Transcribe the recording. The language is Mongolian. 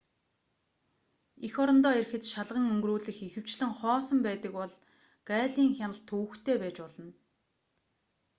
эх орондоо ирэхэд шалган өнгөрүүлэх ихэвчлэн хоосон байдаг бол гаалийн хяналт төвөгтэй байж болно